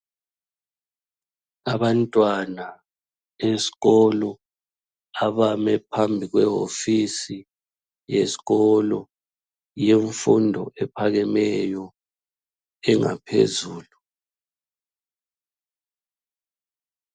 Abantwana beskolo abame phambi kwehofisi eskolo yemfundo ephakemeyo engaphezulu.